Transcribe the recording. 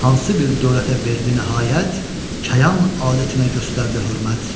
Hansı bir dövlətə verdiyi nəhayət, kəyan adətinə göstərdi hörmət.